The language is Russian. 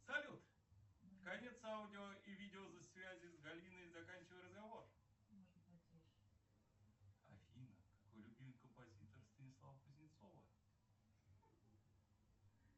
салют конец аудио и видео связи с галиной заканчивай разговор афина какой любимый композитор станислава кузнецова